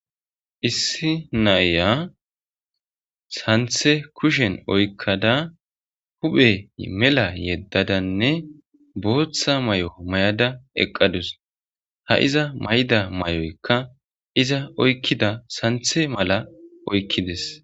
Issi naya santhe kushen oykada hu'ey mela yedadanne bootha mayo mayada eqadus iza mayida mayoykka iza oykida santhe mila oykidees.